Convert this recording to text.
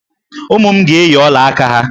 Ụmụ m ga-eyi ọla aka ha.